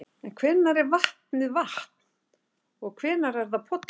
En hvenær er vatnið vatn og hvenær er það pollur?